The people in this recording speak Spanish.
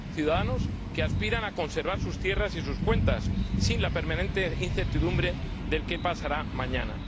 ciudadanos que aspiran a conservar sus tierras y sus cuentas sin la permanente incertidumbre del qué pasará mañana.